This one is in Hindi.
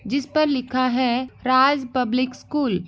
जिस पर लिखा है राज पब्लिक स्कूल ।